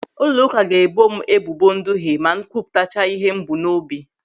Ụlọụka ga-ebo m ebubo nduhe ma m kwupụtacha ịhe m bu n'obi.